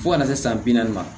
Fo ka na se san bi naani ma